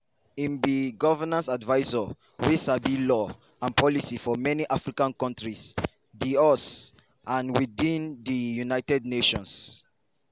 im be governance advisor wey sabi law and policy for many african kontris di us and within di united nations.